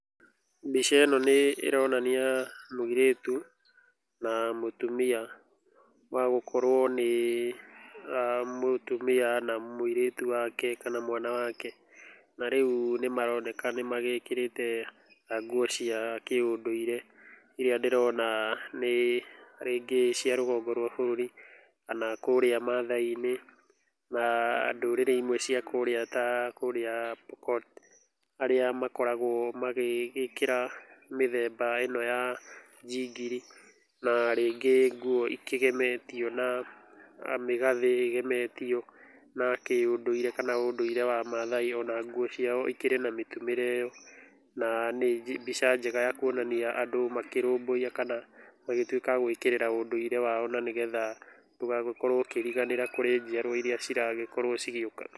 Mbica ĩno nĩ ĩronania mũirĩtu na mũtumia no gũkorwo nĩ mũtumia na mũirĩtu wake kana mwana wake. Na rĩu nĩ maroneka nĩ magĩrĩte nguo cia kĩũndũire irĩa ndĩrona rĩngĩ nĩ cia rũgongo rwa bũrũri kana kũrĩa maathai-inĩ. Na ndũrĩre imwe cia kurĩa ta kũrĩa Pokot, arĩa makoragwo magĩgĩkĩra mĩthemba ĩna ya njingiri na rĩngĩ nguo ĩkĩgemetio na mĩgathĩ ĩgemetio na kĩũndũire kana ũndũire wa Maathai. Ona nguo ciao ikĩrĩ na mitumĩre ĩyo. Na nĩ mbica njega ya kuonania andũ makĩrũmbũya kana magĩtuĩka a gwĩkĩrĩra ũndũire wao na nĩgetha ndũgagĩkorwo ũkĩriganĩra kũrĩ njiarwa irĩa ciragĩkorwo cigĩũka.